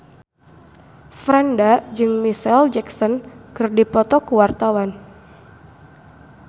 Franda jeung Micheal Jackson keur dipoto ku wartawan